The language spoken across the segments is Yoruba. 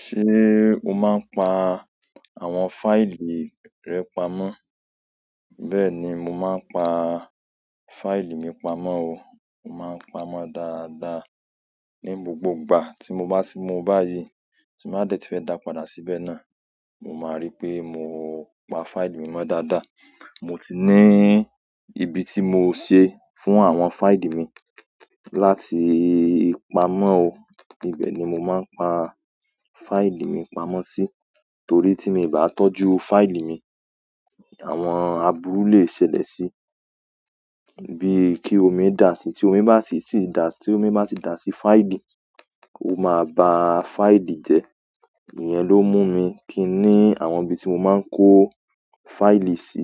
Ṣé o máa ń pa àwọn fáìlì rẹ pamọ́? Bẹ́ẹ̀ni, mo máa ń pa fáìlì mi pamọ́ o. Mo máa ń pamọ́ dáadáa. Ni gbogbo ìgbà tí mo bá ti mu báyìí tí màá dẹ̀ ti fẹ́ dà pàdà síbẹ̀ náà, mo máa rí pé mo pa fáìlì mi mọ́ dáadáa. Mo ti ni ibi ti mo se fún àwọn fáìlì mi láti paa mo oo. Ibẹ̀ ni mo máa ń pa fáìlì mi pamọ́ sí torí tí mi o bá tọ́jú fáìlì mi, àwọn aburú lè ṣẹlẹ̀ sí i. Bíi kí omi dà sí i, tí omi bá sì sì dà sí i, tí omi bá si ti dà sí fáìlì, ó máa ba fáìlì jẹ. Ìyẹn ló mú mi kí n ní àwọn ibi tí mo máa ń kó fáìlì sí.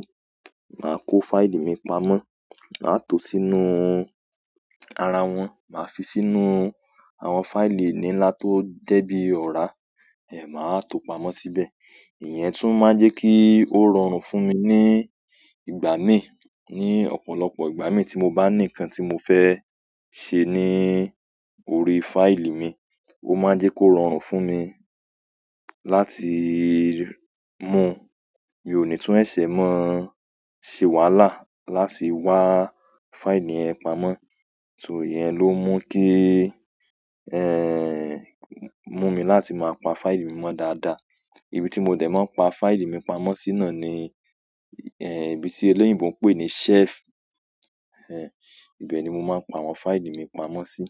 Màá kó fáìlì mi pamọ́, màá to sínú ara wọn, màá fi sínú àwọn fáìlì nilá tó jẹ́ bí ọ̀rá, ẹ́, màá wa to pamọ́ síbẹ̀. Ìyẹn tún má n jẹ́ kí ó rọrùn fún mi ní ìgbà míì, ní ọ̀pọ̀lọpọ̀ ìgbà míì tí mo bá ní nǹkan tí mo fẹ́ ṣe ní orí fáìlì mi, ó má jẹ́ kó rọrùn fún mi láti mú. Mio ó ní tún sẹsẹ̀ máa se wahàlá láti wá fáìlì yẹn pamọ́. So ìyẹn ló mú kí, mú mi láti máa pa fáìlì mi mọ́ dáadáa. Ibi tí mo dẹ̀ máa ń pa fáìlì mi pamọ́ sí náà ni, ibi tí eléyìíbo ń pè ní shelf. Ibẹ̀ ni mo máa ń pa àwọn fáìlì mi pamọ́ sí.